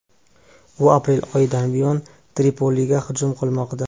U aprel oyidan buyon Tripoliga hujum qilmoqda.